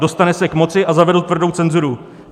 Dostane se k moci a zavedou tvrdou cenzuru.